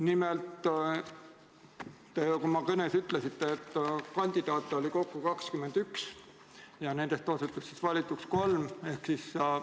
Nimelt, te oma kõnes ütlesite, et kandidaate oli kokku 21 ja nendest osutus valituks kolm.